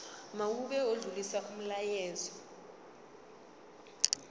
mawube odlulisa umyalezo